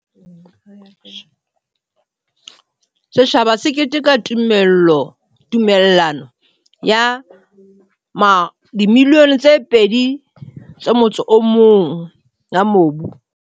Setjhaba se keteka tumella no ya R21 milione ya mobu